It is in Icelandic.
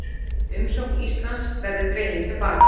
Umsókn Íslands verði dregin til baka